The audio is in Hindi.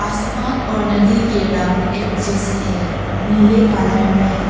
आसमान और नदी के रंग एक जैसे है नीले कलर में।